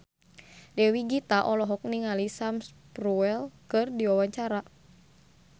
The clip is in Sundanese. Dewi Gita olohok ningali Sam Spruell keur diwawancara